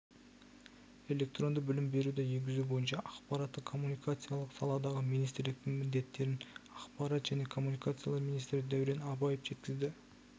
электронды білім беруді енгізу бойынша ақпараттық-коммуникациялық саладағы министрліктің міндеттерін ақпарат және коммуникациялар министрі дәурен абаев жеткізді